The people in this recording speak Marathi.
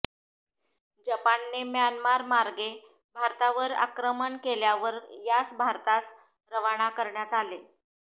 जपानने म्यानमारमार्गे भारतावर आक्रमण केल्यावर यास भारतास रवाना करण्यात आले